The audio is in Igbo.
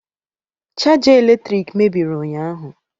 Chaja eletrik mebiri ụnyahụ.